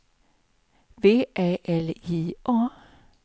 V Ä L J A